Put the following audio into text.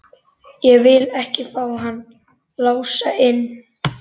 Ég vil ekki fá hann Lása inn.